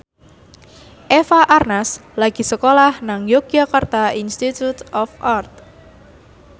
Eva Arnaz lagi sekolah nang Yogyakarta Institute of Art